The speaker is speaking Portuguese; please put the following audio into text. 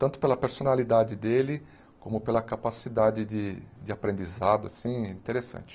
Tanto pela personalidade dele, como pela capacidade de de aprendizado, assim, interessante.